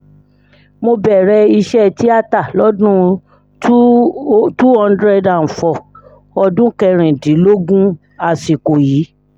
mo bẹ̀rẹ̀ iṣẹ́ tìata lọ́dún two thousand four ọdún kẹrìndínlógún sásìkò yìí